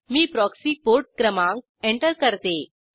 मी proxy port क्रमांक enter करते